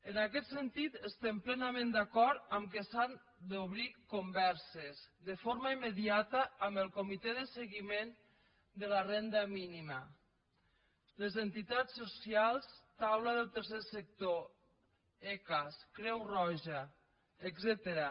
en aquest sentit estem plenament d’acord que s’han d’obrir converses de forma immediata amb el comitè de seguiment de la renda mínima les entitats socials taula del tercer sector ecas creu roja etcètera